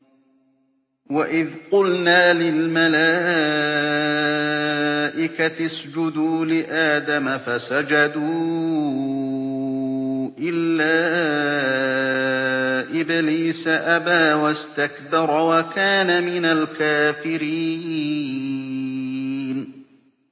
وَإِذْ قُلْنَا لِلْمَلَائِكَةِ اسْجُدُوا لِآدَمَ فَسَجَدُوا إِلَّا إِبْلِيسَ أَبَىٰ وَاسْتَكْبَرَ وَكَانَ مِنَ الْكَافِرِينَ